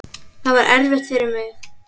Það var erfitt fyrir mig.